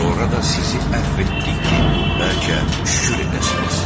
Sonra da sizi əfv etdik ki, bəlkə şükür edəsiniz.